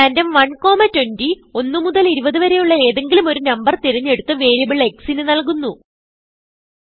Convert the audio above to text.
random 120 1മുതൽ 20വരെയുള്ള ഏതെങ്കിലും ഒരു നമ്പർ തിരഞ്ഞെടുത്ത് വേരിയബിൾX ന് നല്കുന്നു